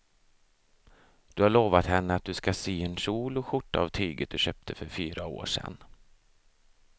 Du har lovat henne att du ska sy en kjol och skjorta av tyget du köpte för fyra år sedan.